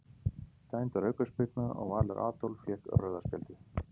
Dæmd var aukaspyrna og Valur Adolf fékk rauða spjaldið.